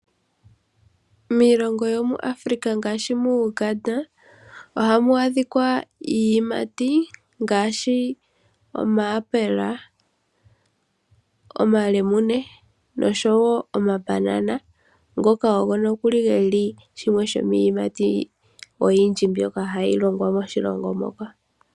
Miilongo yomuAfrika ngaashi mu Uganda ohamu adhika iiyimati ngaashi omayapela, omalemune nosho wo omabanana ngoka ogo nokuli ge li shimwe shomiiyimati oyindji mbyoka hayi longwa moshilongo moka.